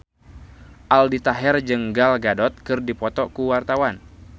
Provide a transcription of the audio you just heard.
Aldi Taher jeung Gal Gadot keur dipoto ku wartawan